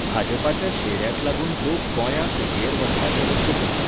भाजपाच्या शेऱ्याक लागून लोक गोंयां सुटयेर वचपाचें रद्द करतात